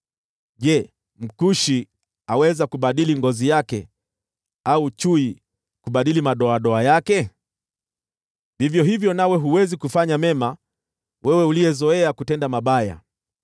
Je, Mkushi aweza kubadili ngozi yake au chui kubadili madoadoa yake? Vivyo hivyo nawe huwezi kufanya mema wewe uliyezoea kutenda mabaya.